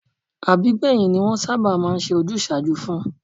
Àbígbẹ̀yìn ni wọ́n sábà máa ń ṣe ojúsàájú fún